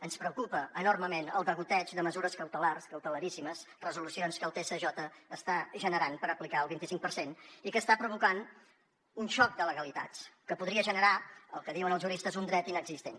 ens preocupa enormement el degoteig de mesures cautelars cautelaríssimes resolucions que el tsj està generant per aplicar el vinticinc per cent i que està provocant un xoc de legalitats que podria generar el que diuen els juristes un dret inexistent